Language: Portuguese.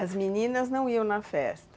As meninas não iam na festa?